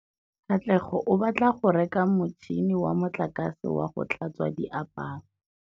Katlego o batla go reka motšhine wa motlakase wa go tlhatswa diaparo.